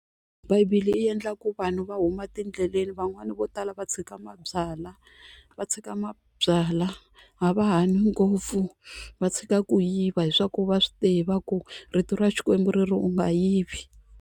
Bibele yi endlaku vanhu va huma etindleleni van'wani vo tala va tshika mabyalwa va tshika mabyalwa a va hanyi ngopfu va tshika ku yiva hi swaku va swi tiva ku rito ra xikwembu ri ri u nga yivi.